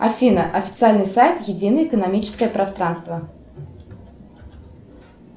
афина официальный сайт единое экономическое пространство